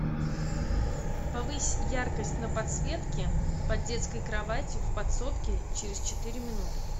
повысь яркость на подсветке под детской кроватью в подсобке через четыре минуты